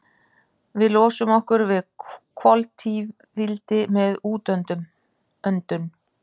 Við losum okkur við koltvíildi með útöndun.